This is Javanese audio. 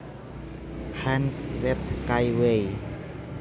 Hanz Zeth Kaiway